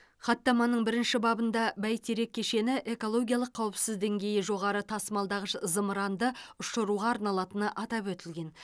хаттаманың бірінші бабында бәйтерек кешені экологиялық қауіпсіздік деңгейі жоғары тасымалдағыш зымырандарды ұшыруға арналатыны атап өтілген